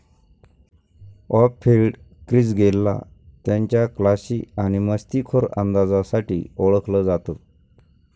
Of field Chris गेलला त्यांच्या classy आणि मस्तीखोर अंदाजासाठी ओळखलं जातं.